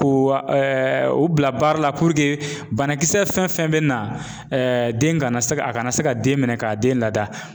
Ko wa o bila baara la banakisɛ fɛn fɛn bɛ na den kana se a kana se ka den minɛ k'a den lada